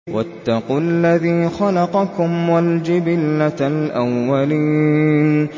وَاتَّقُوا الَّذِي خَلَقَكُمْ وَالْجِبِلَّةَ الْأَوَّلِينَ